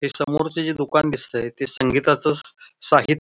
हे समोरच जे दुकान दिसतय ते संगीताच स साहि--